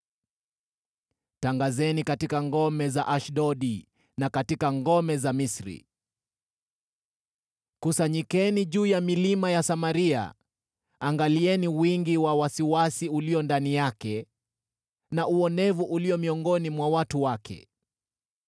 Tangazeni katika ngome za Ashdodi na katika ngome za Misri: “Kusanyikeni juu ya milima ya Samaria; angalieni wingi wa wasiwasi ulio ndani yake, na uonevu ulio miongoni mwa watu wake.”